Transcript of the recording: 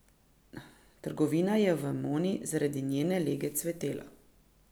Trgovina je v Emoni zaradi njene lege cvetela.